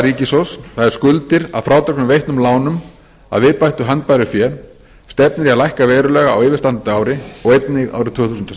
ríkissjóðs það er skuldir að frádregnum veittum lánum að viðbættu handbæru fé stefnir í að lækka verulega á yfirstandandi ári og einnig árið tvö þúsund og